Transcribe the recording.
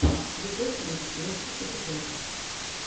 егор крид лучший эпизод